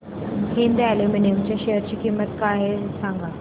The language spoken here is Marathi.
हिंद अॅल्युमिनियम च्या शेअर ची किंमत काय आहे हे सांगा